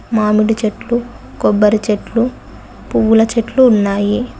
మామిడి చెట్లు కొబ్బరి చెట్లు పువ్వుల చెట్లు ఉన్నాయి.